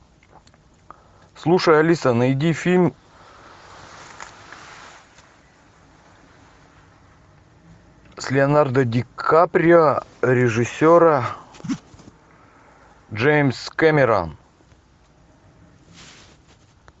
слушай алиса найди фильм с леонардо ди каприо режиссера джеймс кэмерон